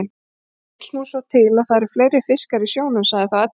Það vill nú til að það eru fleiri fiskar í sjónum, sagði þá Edda.